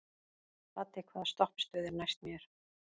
Laddi, hvaða stoppistöð er næst mér?